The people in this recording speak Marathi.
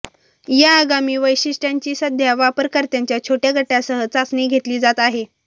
या आगामी वैशिष्ट्यांची सध्या वापरकर्त्यांच्या छोट्या गटासह चाचणी घेतली जात आहे